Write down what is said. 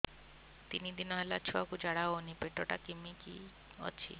ତିନି ଦିନ ହେଲା ଛୁଆକୁ ଝାଡ଼ା ହଉନି ପେଟ ଟା କିମି କି ଅଛି